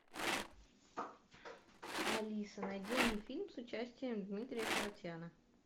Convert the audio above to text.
алиса найди мне фильм с участием дмитрия харатьяна